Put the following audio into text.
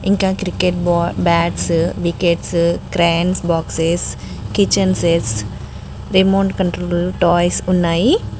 ఇంకా cricket ball bats wickets cranes boxes kitchen sets remote control toys ఉన్నాయి.